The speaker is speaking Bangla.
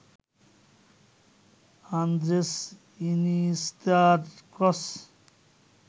আন্দ্রেস ইনিয়েস্তার ক্রস